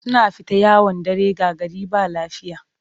Suna fita yawon dare ga gari ba lafiya